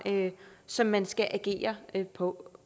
som man skal agere på